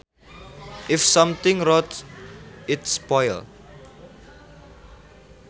If something rots it spoils